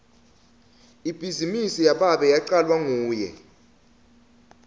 ibhizinisi yababe yacalwa nguye